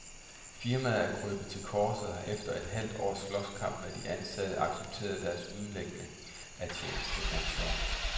Firmaet er krøbet til korset og har efter et halvt års slåskamp med de ansatte accepteret deres udlægning af tjenestemandsloven.